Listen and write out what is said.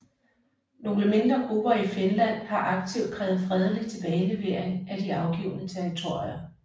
Nogle mindre grupper i Finland har aktivt krævet fredelig tilbagelevering af de afgivne territorier